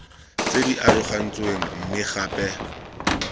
tse di arogantsweng mme gape